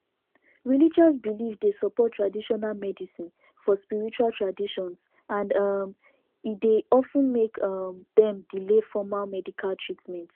religious belief dey support traditional medicine for spiritual traditions and um e dey of ten make um dem delay formal medical treatment